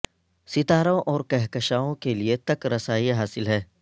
ستاروں اور کہکشاںوں کے لئے تک رسائی حاصل ہے